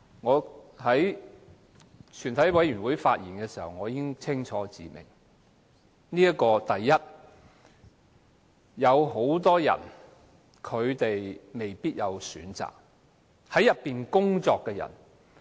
我在全體委員會審議階段已經清楚指出，很多人未必有選擇，例如在內地口岸區工作的人。